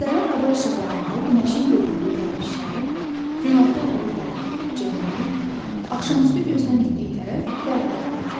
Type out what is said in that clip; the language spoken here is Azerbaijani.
Səhər hava işıqlananda günəşin göründüyü tərəf şərq, günorta olduğu tərəf cənub, axşamüstü gözdən ittiyi tərəf qərb adlanır.